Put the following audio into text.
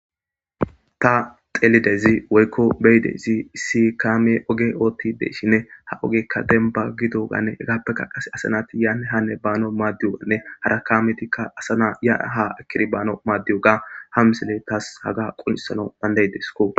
ta xelidezi woykko beyidezi isi kaame oge oottide shinne ha ogekka denba gidoganne hegaappeka qase asanati yaae hanne baano maaddiyonne hara kaametikka asana ya ha akiri baano maaddiyoga ha misile taas haga qunisana dandaydesko